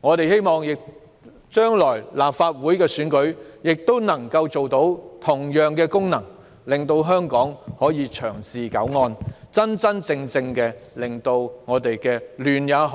我們希望將來的立法會選舉亦能發揮同樣的功能，令香港能夠長治久安，真真正正令社會亂象，